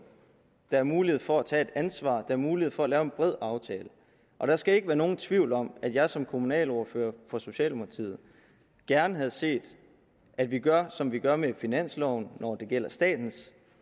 der er mulighed for at tage et ansvar er mulighed for at lave en bred aftale og der skal ikke være nogen tvivl om at jeg som kommunalordfører for socialdemokratiet gerne havde set at vi gør som vi gør med finansloven når det gælder statens